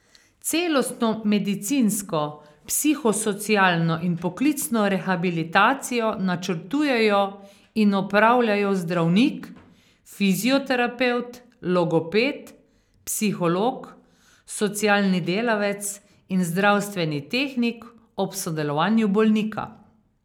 Celostno medicinsko, psihosocialno in poklicno rehabilitacijo načrtujejo in opravljajo zdravnik, fizioterapevt, logoped, psiholog, socialni delavec in zdravstveni tehnik ob sodelovanju bolnika.